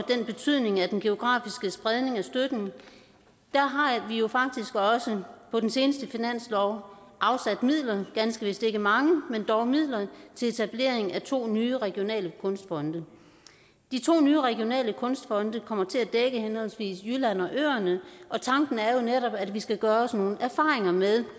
betydningen af den geografiske spredning af støtten har vi jo faktisk også på den seneste finanslov afsat midler ganske vist ikke mange men dog midler til etablering af to nye regionale kunstfonde de to nye regionale kunstfonde kommer til at dække henholdsvis jylland og øerne og tanken er jo netop at vi skal gøre os nogle erfaringer med